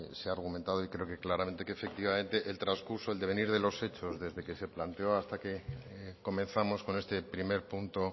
se ha argumentado y creo que claramente que efectivamente el transcurso el devenir de los hechos desde que se planteó hasta que comenzamos con este primer punto